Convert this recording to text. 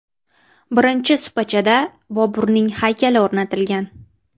Birinchi supachada Boburning haykali o‘rnatilgan.